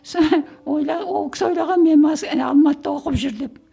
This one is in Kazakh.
ол кісі ойлаған мен алматыда оқып жүр деп